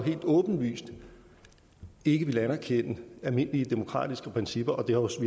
helt åbenlyst ikke ville anerkende almindelige demokratiske principper og vi har også